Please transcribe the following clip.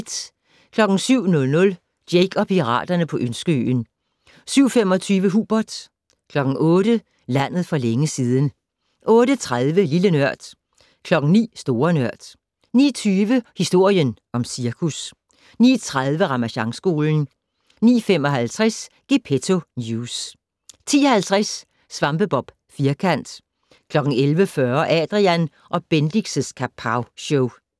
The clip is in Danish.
07:00: Jake og piraterne på Ønskeøen 07:25: Hubert 08:00: Landet for længe siden 08:30: Lille Nørd 09:00: Store Nørd 09:20: Historien om cirkus 09:30: Ramasjangskolen 09:55: Gepetto News 10:50: SvampeBob Firkant 11:40: Adrian & Bendix' Kapowshow